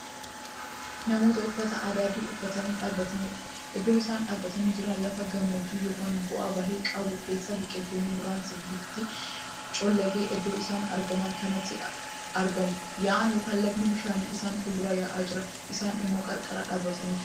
Namoota uffata adii uffatanii dhaabbataniidha. iddoon isaan dhaabatanii Jiran lafa gammoojjii ykn bu'aa-bahii qabu keessadha biqiltoonni muraasni biftiisaani collage iddoo isaan argaman kanatti argamu. yaa'aan(lagni)bishaanii isaan fuulduraa yaa'aa jira. isaan immoo qarqara dhaabatanii jiru.